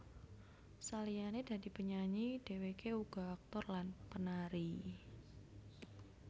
Saliyane dadi penyanyi dheweke uga aktor lan penari